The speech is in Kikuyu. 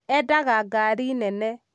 endaga ngari nene